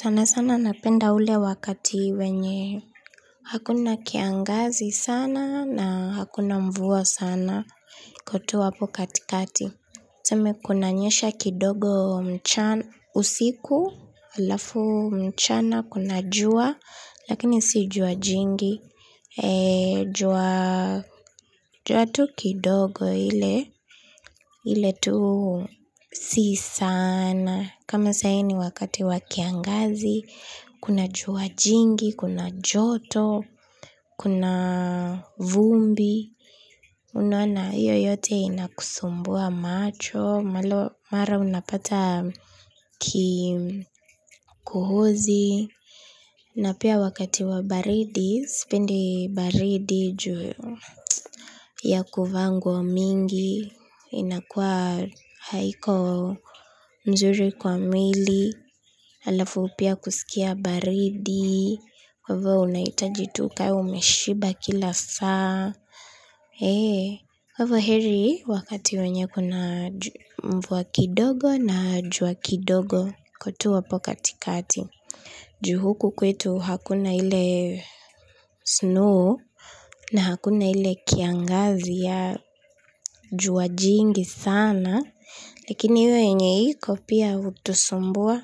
Sana sana napenda ule wakati wenye hakuna kiangazi sana na hakuna mvua sana iko tu hapo katikati. Tuseme kunanyesha kidogo usiku, alafu mchana, kuna jua, lakini si jua jingi, jua tu kidogo ile tu si sana, kama sahii ni wakati wa kiangazi, kuna jua jingi, kuna joto, kuna vumbi. Unaona hio yote inakusumbua macho mara unapata kohozi, na pia wakati wa baridi, sipendi baridi juu ya kuvaa nguo mingi, inakuwa haiko mzuri kwa mwili, alafu pia kusikia baridi, kwaivo unahitaji tu ka umeshiba kila saa. Kwa hivyo heri wakati wenye kuna mvua kidogo na jua kidogo iko tu hapo katikati. Ju huku kwetu hakuna ile snow na hakuna ile kiangazi ya jua jingi sana. Lakini hiyo yenye iko pia hutusumbua,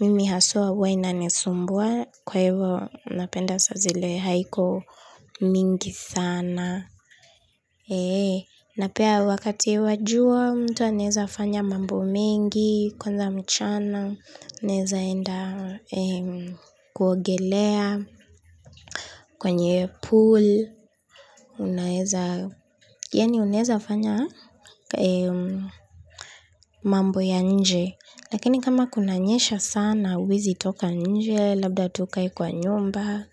mimi haswa huwa inanisumbua, kwa hivo napenda saa zile haiko mingi sana. Na pia wakati wa jua mtu anaweza fanya mambo mengi kwanza mchana naeza enda kuogelea kwenye pool yaani unaeza fanya mambo ya nje. Lakini kama kunanyesha sana, huwezi toka nje, labda tu ukae kwa nyumba,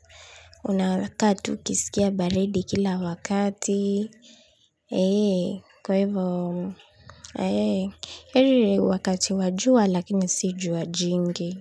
unakaa tu ukisikia baridi kila wakati. Eee, kwaivo, eee, heri wakati wa jua lakini si jua jingi.